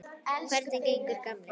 Hvernig gengur, gamli